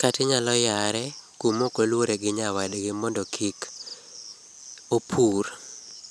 kata inyalo yare kuma ok oluore gi nyawadgi mondo kik opur